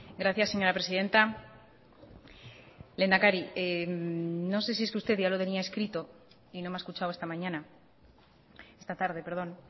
gracias señora presidenta lehendakari no sé si es que usted ya lo tenía escrito y no me ha escuchado esta mañana esta tarde perdón